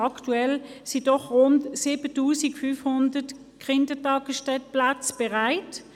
Aktuell sind doch rund 7500 Kitaplätze bereit;